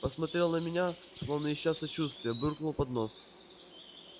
посмотрел на меня словно ища сочувствия буркнул под нос